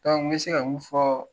n bɛ se ka mun fɔ